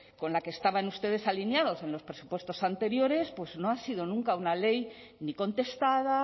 con la que estaban ustedes alineados en los presupuestos anteriores pues no ha sido nunca una ley ni contestada